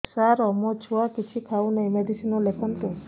ସାର ମୋ ଛୁଆ କିଛି ଖାଉ ନାହିଁ ମେଡିସିନ ଲେଖନ୍ତୁ